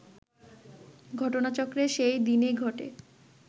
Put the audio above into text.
ঘটনাচক্রে সেই দিনেই ঘটে